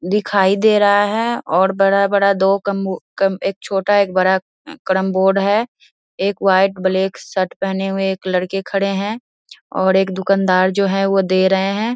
दिखाई दे रहा है और बड़ा बड़ा दो कम कम एक छोटा एक बड़ा करमबोर्ड है एक व्हाइट ब्लैक शर्ट पहने हुए एक लड़के खड़े है और एक दुकानदार जो है वो दे रहे है।